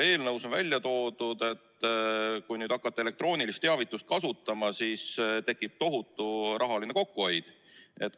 Eelnõus on aga välja toodud, et kui hakata elektroonilist teavitust kasutama, siis tekib tohutu rahaline kokkuhoid.